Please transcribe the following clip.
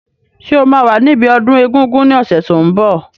Ṣé o máa wà níbi ọdún egungun ní ọ̀sẹ̀ tó n bọ̀?